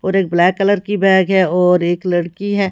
और एक black colour की बैग है और एक लड़की है।